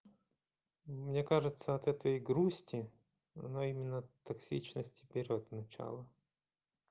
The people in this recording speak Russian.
мне кажется от этой грусти но именно токсичности берёт начало